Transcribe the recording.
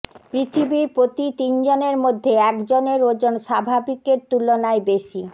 পৃথিবীর প্রতি তিনজনের মধ্যে এক জনের ওজন স্বাভাবিকের তুলনায় বেশি